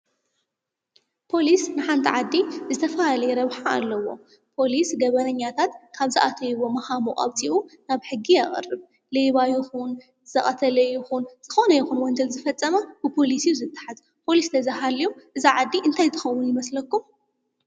ፖሊስ ንሓንቲ ዓዲ ዝተፈላለየ ረብሓ ኣለዎ፡፡ ፖሊስ ገበነኛታት ካብ ዝኣተውዎ መሃሙቅ ኣውፅኡ ናብ ሕጊ የቅርብ፡፡ ሌባ ይኩን፣ ዝቀተለ ይኩን ዝኮነ ይኩን ወንጀል ዝፈፀመ ብፖሊስ እዩ ዝተሓዝ፡፡ ፖሊስ እንተዘይሃልዩ እዛ ዓዲ እንታይ ትከውን ይመስለኩም?